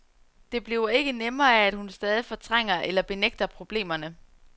Det bliver ikke nemmere af, at hun stadig fortrænger eller benægter problemerne.